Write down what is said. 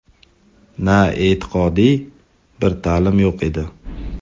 na e’tiqodiy bir ta’lim yo‘q edi.